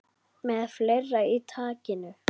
Með fleira í takinu